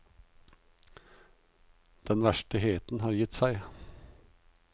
Den verste heten har gitt seg.